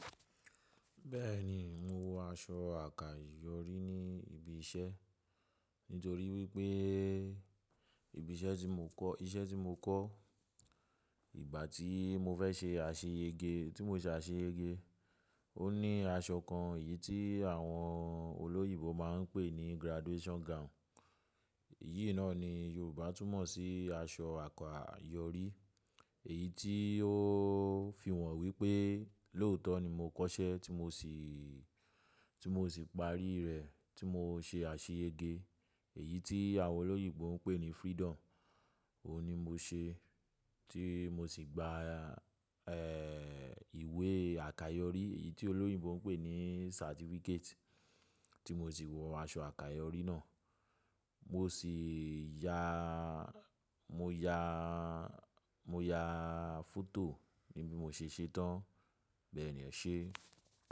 Bẹ́ẹ̀ni, mo wọ aṣọ àkàyọrí ní ibi iṣẹ́, nítorí wípé́ ibi iṣẹ́ tí mo kọ́, iṣẹ́ tí mo kọ́ ìgbà tí mo fẹ́ ṣe àṣeyẹ́ge, tí mo ṣe àṣeyẹ́ge, ó ní aṣọ kan, èyí tí àwọn olóyìibo máa ń pè ní graduation gown. Èyí náà ni Yorùbá tún mọ̀ sí aṣọ àkàyọrí. Èyí tí ó fi hàn wípé́ lóòótọ́ ni mo kọ́ṣẹ́ tí mo sì, tí mo sì parí rẹ̀, tí mo ṣe àṣeyẹ́ge. Èyí tí àwọn olóyìibo ń pè ní freedom, òun ni mo ṣe tí mo sì gba, ẹ́, ìwé àkàyọrí èyí tí olóyìibo ń pè ní certificate, tí mo sì wọ aṣọ àkàyọrí náà. Mo sì ya, mo ya, mo ya foto níbí mo ṣe ṣétán. Bẹ́ẹ̀ni, ọ̀ ṣe.